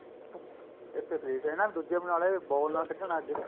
ਇੱਥੇ ਦੇਖਦੇ ਹਨਾ ਦੂਜੇ ਬਨਾਲੇ ball ਨਾਲ ਖੇਡਣ ਲੱਗ ਗਏ